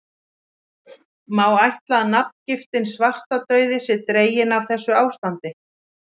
Má ætla að nafngiftin svartidauði sé dregin af þessu ástandi.